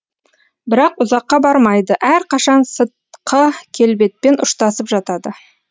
бірақ ұзаққа бармайды әрқашан сытқы келбетпен ұштасып жатады